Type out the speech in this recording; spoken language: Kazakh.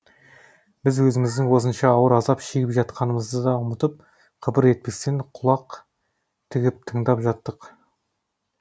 біз өзіміздің осынша ауыр азап шегіп жатқанымызды да ұмытып қыбыр етпестен құлақ тігіп тыңдап жаттық